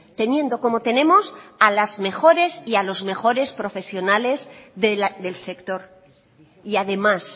teniendo como tenemos a las mejores y a las mejores profesionales del sector y además